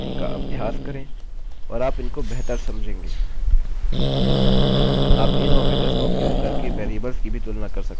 इस पर विस्तार करें इनका अभ्यास करें और आप इनको बेहतर समझेंगे